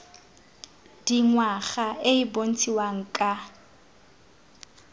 dingwaga e e bontshiwang ka